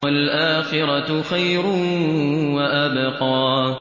وَالْآخِرَةُ خَيْرٌ وَأَبْقَىٰ